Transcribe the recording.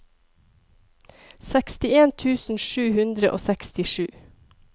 sekstien tusen sju hundre og sekstisju